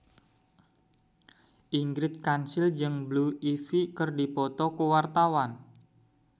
Ingrid Kansil jeung Blue Ivy keur dipoto ku wartawan